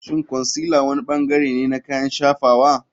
Shin concealer wani bangare ne na kayan shafawa?